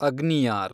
ಅಗ್ನಿಯಾರ್